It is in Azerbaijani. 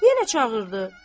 Yenə çağırdı.